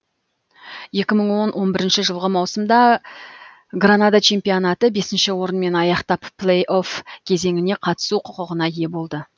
екі мың он он бірінші жылғы маусымда гранада чемпионатты бесінші орынмен аяқтап плей офф кезеңіне қатысу құқығына ие болды